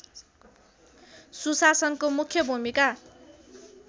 सुशासनको मुख्य भूमिका